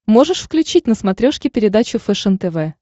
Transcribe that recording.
можешь включить на смотрешке передачу фэшен тв